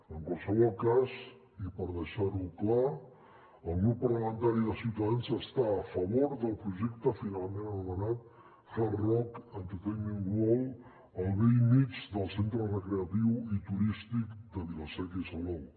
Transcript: en qualsevol cas i per deixar ho clar el grup parlamentari de ciutadans està a favor del projecte finalment anomenat hard rock entertainment world al bell mig del centre recreatiu turístic de vila seca i salou